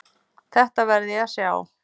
Þetta verð ég að sjá.